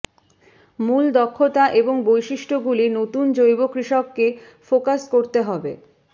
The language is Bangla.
মূল দক্ষতা এবং বৈশিষ্ট্যগুলি নতুন জৈব কৃষককে ফোকাস করতে হবে